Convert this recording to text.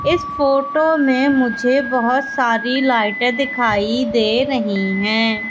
इस फोटो में मुझे बहुत सारी लाइटे दिखाई दे रही हैं।